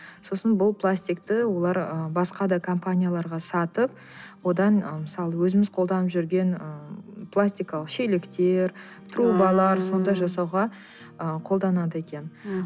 сосын бұл пластикты олар ы басқа да компанияларға сатып одан ы мысалы өзіміз қолданып жүрген ы пластикалық шелектер трубалар сондай жасауға ы қолданады екен м